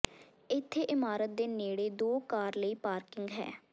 ਇੱਥੇ ਇਮਾਰਤ ਦੇ ਨੇੜੇ ਦੋ ਕਾਰ ਲਈ ਪਾਰਕਿੰਗ ਹੈ